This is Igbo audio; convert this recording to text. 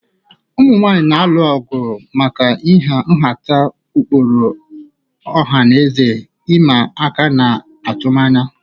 Ụmụ nwanyị na-alụ ọgụ maka ịha nhata, ụkpụrụ ọha na eze ịma aka na atụmanya.